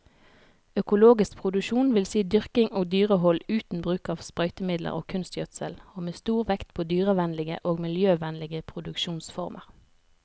Økologisk produksjon vil si dyrking og dyrehold uten bruk av sprøytemidler og kunstgjødsel, og med stor vekt på dyrevennlige og miljøvennlige produksjonsformer.